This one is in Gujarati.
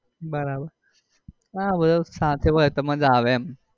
બરાબર હા બધા સાથે હોય તો મજા આવે એમ.